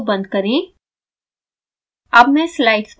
image window बंद करें